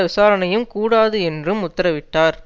விசாரணையும் கூடாது என்றும் உத்தரவிட்டார்